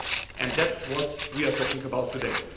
go and that this is what we are talking about today.